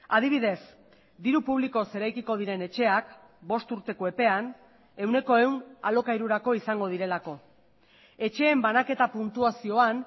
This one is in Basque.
adibidez diru publikoz eraikiko diren etxeak bost urteko epean ehuneko ehun alokairurako izango direlako etxeen banaketa puntuazioan